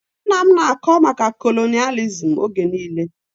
Nna m na-akọ maka kolonịalizim oge niile